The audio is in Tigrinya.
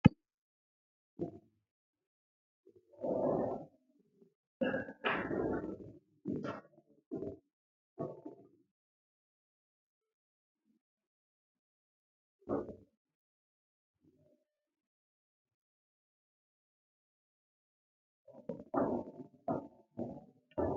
ዘዘ ዘዘ ዘ ጭ